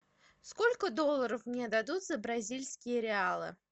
сколько долларов мне дадут за бразильские реалы